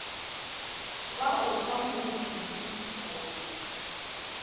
ba o fa morutipi go